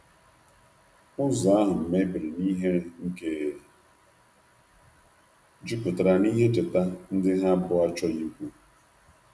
Ụzo ahu mebere n'ihere nke juputara n'ihe ncheta ndi ha abuo achoghi ikwu